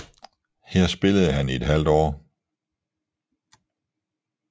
Her spillede han i et halvt år